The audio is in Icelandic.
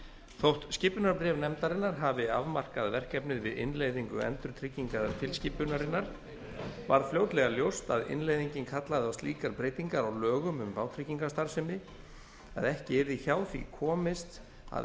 þótt skipunarbréf nefndarinnar hafi afmarkað verkefnið við innleiðingu endurtryggingatilskipunarinnar varð fljótlega ljóst að innleiðingin kallaði á slíkar breytingar á lögum um vátryggingastarfsemi að ekki yrði hjá því komist að